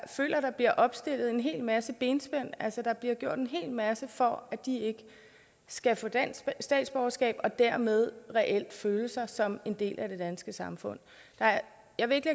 føler at der bliver opstillet en hel masse benspænd altså at der bliver gjort en hel masse for at de ikke skal få dansk statsborgerskab og dermed reelt føle sig som en del af det danske samfund jeg vil ikke